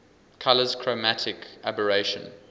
colours chromatic aberration